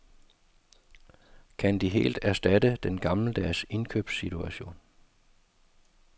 Kan de helt erstatte den gammeldags indkøbssituation?